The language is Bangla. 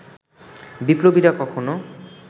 বিপ্লবীরা কখনো